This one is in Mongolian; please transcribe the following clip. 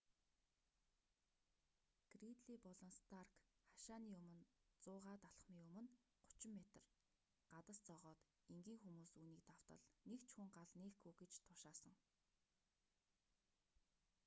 гридлий болон старк хашааны өмнө 100-д алхамын өмнө 30 метр гадас зоогоод энгийн хүмүүс үүнийг давтал нэг ч хүн гал нээхгүй гэж тушаасан